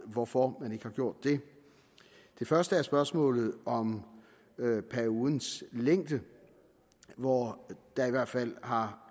hvorfor man ikke har gjort det det første er spørgsmålet om periodens længde hvor der i hvert fald har